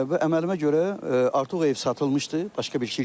Və əməlimə görə artıq o ev satılmışdı başqa bir şirkətə.